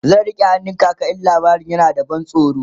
zan rike hannun kaka in labarin na da ban tsoro